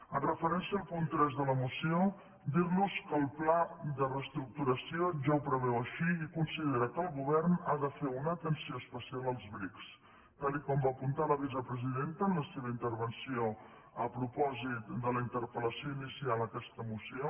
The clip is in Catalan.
amb referència al punt tres de la moció dir los que el pla de reestructuració ja ho preveu així i considera que el govern ha de fer una atenció especial als bric tal com va apuntar la vicepresidenta en la seva intervenció a propòsit de la interpel·lació inicial a aquesta moció